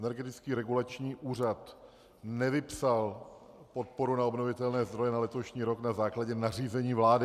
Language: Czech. Energetický regulační úřad nevypsal podporu na obnovitelné zdroje na letošní rok na základě nařízení vlády.